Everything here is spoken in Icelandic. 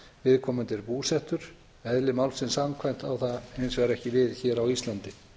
viðkomandi er búsettur eðli málsins samkvæmt á það hins vegar ekki við hér á íslandi